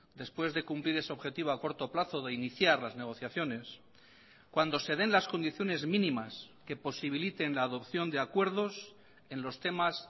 después de cumplir ese objetivo a corto plazo de iniciar las negociaciones cuando se den las condiciones mínimas que posibiliten la adopción de acuerdos en los temas